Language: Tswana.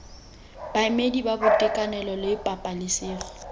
baemedi ba boitekanelo le pabalesego